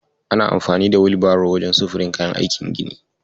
Ana amfani da Wilbaro wajen sufurin kayan aikin gini.